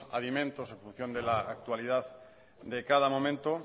en función de la actualidad de cada momento